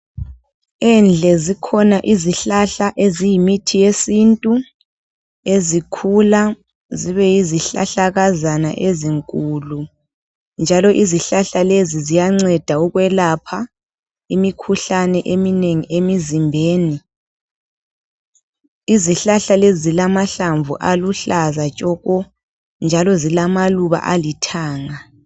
Endle zikhona izihlahla eziyimithi yesintu ezikhula zibeyizi hlahlakazana ezinkulu njalo izihlahla lezi ziyanceda ukwelapha imikhuhlane eminengi emizimbeni izihlahla lezi zilamahlamvu aluhlaza tshoko njalo zilamaluba alithanga.